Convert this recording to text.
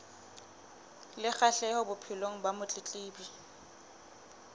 le kgahleho bophelong ba motletlebi